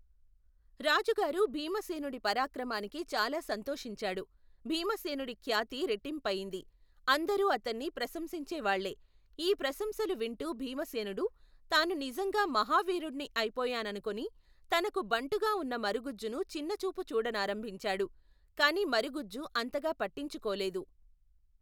రాజుగారు భీమసేనుడి పరాక్రమానికి చాలా సంతోషించాడు. భీమసేనుడి ఖ్యాతి రెట్టింపయింది. అందరూ అతన్ని ప్రశంసించే వాళ్లే. ఈ ప్రశంసలు వింటూ భీమసేనుడు తాను నిజంగా మహావీరుణ్ణి అయిపోయాననుకుని, తనకు బంటుగా ఉన్న మరుగుజ్జును చిన్నచూపు చూడ నారంభించాడు, కాని మరగుజ్జు అంతగా పట్టించుకోలేదు.